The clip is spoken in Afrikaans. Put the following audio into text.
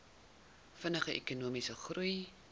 vinniger ekonomiese groei